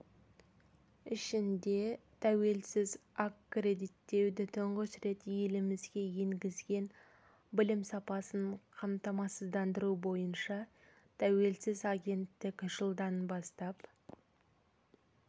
ішінде тәуелсіз аккредиттеуді тұңғыш рет елімізге енгізген білім сапасын қамтамасыздандыру бойынша тәуелсіз агенттік жылдан бастап